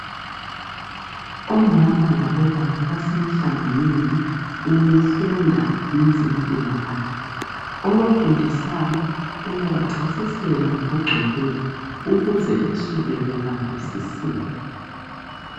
Omama labobaba basemhlanganweni wokufunda ngezempilakahle. Obafundisayo uyabachasisela ngokugcweleyo ukuze besuke bembambisisile.